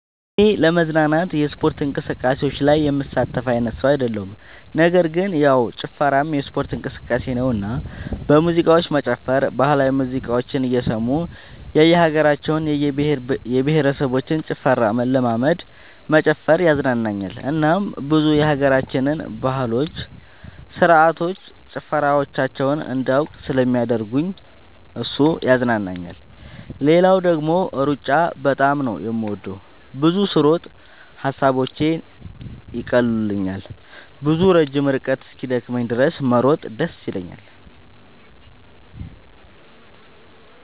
እኔ ለመዝናናት የስፖርት እንቅስቃሴዎች ላይ የምሳተፍ አይነት ሰው አይደለሁም ነገር ግን ያው ጭፈራም የስፖርት እንቅስቃሴ ነውና በሙዚቃዎች መጨፈር ባህላዊ ሙዚቃዎችን እየሰሙ የእየሀገራቸውን የእየብሄረሰቦችን ጭፈራ መለማመድ መጨፈር ያዝናናኛል እናም ብዙ የሀገራችንን ባህሎች ስርዓቶች ጭፈራዎቻቸውን እንዳውቅ ስለሚያደርገኝ እሱ ያዝናናኛል። ሌላው ደግሞ ሩጫ በጣም ነው የምወደው። ብዙ ስሮጥ ሐሳቦቼን ይቀሉልኛል። ብዙ ረጅም ርቀት እስኪደክመኝ ድረስ መሮጥ ደስ ይለኛል።